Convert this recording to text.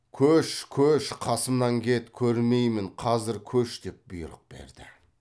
көш көш қасымнан кет көрмеймін қазір көш деп бұйрық берді